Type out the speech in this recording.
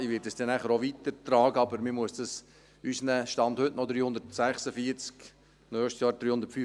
Ich werde es nachher auch weitertragen, aber man muss dies unseren Gemeinden – Stand heute: noch 346 Gemeinden; nächstes Jahr: